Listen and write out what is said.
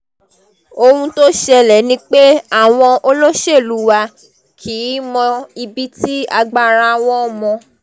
ohun tó ṣẹlẹ̀ ni pé àwọn olóṣèlú wa kì í mọ ibi tí agbára wọn mọ